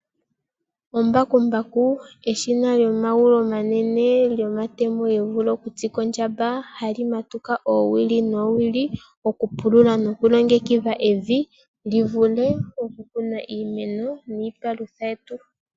Embakumbaku eshina lyomagulu omanene, lyomatemo goku tsikwa ondjamba, hali matuka oowili noowili oku pulula noku longekidha evi, li vule oku kunwa iimeno niipalutha yetu.